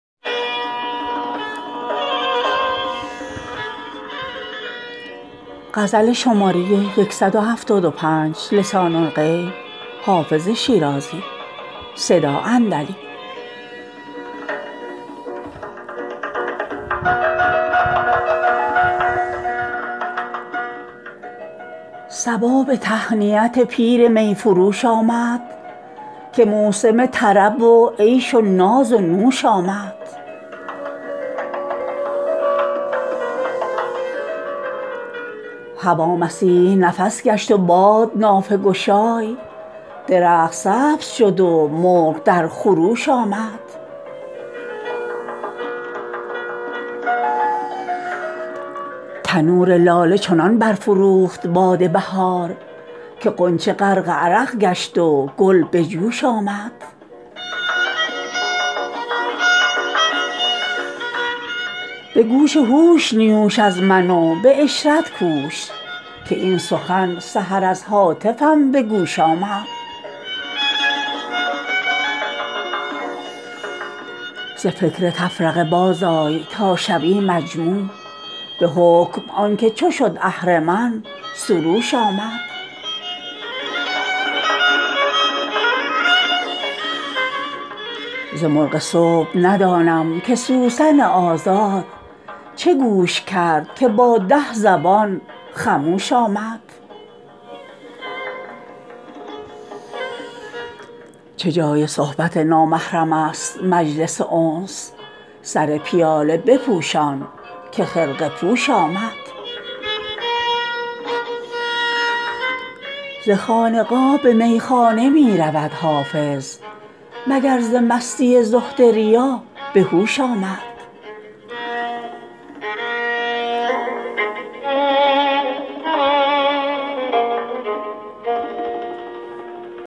صبا به تهنیت پیر می فروش آمد که موسم طرب و عیش و ناز و نوش آمد هوا مسیح نفس گشت و باد نافه گشای درخت سبز شد و مرغ در خروش آمد تنور لاله چنان برفروخت باد بهار که غنچه غرق عرق گشت و گل به جوش آمد به گوش هوش نیوش از من و به عشرت کوش که این سخن سحر از هاتفم به گوش آمد ز فکر تفرقه بازآی تا شوی مجموع به حکم آن که چو شد اهرمن سروش آمد ز مرغ صبح ندانم که سوسن آزاد چه گوش کرد که با ده زبان خموش آمد چه جای صحبت نامحرم است مجلس انس سر پیاله بپوشان که خرقه پوش آمد ز خانقاه به میخانه می رود حافظ مگر ز مستی زهد ریا به هوش آمد